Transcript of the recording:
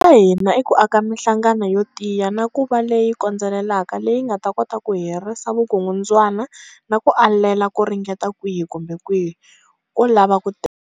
Xa hina i ku aka mihlangano yo tiya na ku va leyi kondzelelaka leyi nga ta kota ku herisa vukungundzwana na ku alela ku ringeta kwihi kumbe kwihi ko lava ku teka.